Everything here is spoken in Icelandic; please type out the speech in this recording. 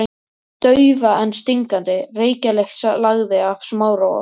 Daufa en stingandi reykjarlykt lagði af Smára og